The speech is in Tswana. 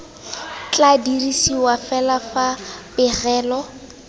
tla dirisiwa fela fa pegelo